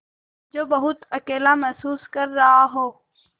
जो बहुत अकेला महसूस कर रहा हो